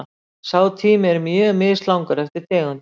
Sá tími er mjög mislangur eftir tegundum.